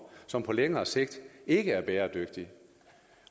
som på længere sigt ikke er bæredygtig